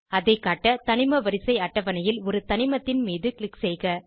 அதை காட்ட தனிம வரிசை அட்டவணையில் ஒரு தனிமத்தின் மீது க்ளிக் செய்க